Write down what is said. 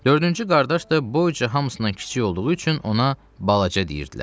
Dördüncü qardaş da boyca hamısından kiçik olduğu üçün ona Balaca deyirdilər.